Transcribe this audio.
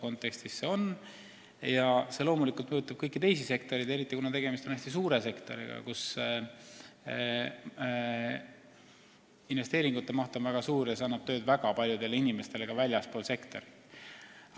Kõik see loomulikult puudutab ka kõiki teisi valdkondi, aga tegemist on hästi suure sektoriga, kus investeeringute maht on väga suur ja kus saab tööd väga palju inimesi ka väljastpoolt sektorit.